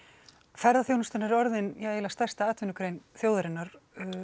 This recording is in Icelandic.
ferðaþjónustan er orðin stærsta atvinnugrein þjóðarinnar